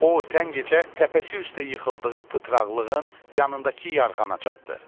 O tən gecə təpəsi üstə yıxıldığı pıtraqlığın yanındakı yarğana çatdı.